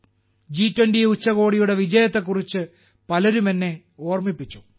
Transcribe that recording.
ജി20 ഉച്ചകോടിയുടെ വിജയത്തെക്കുറിച്ച് പലരും എന്നെ ഓർമ്മിപ്പിച്ചു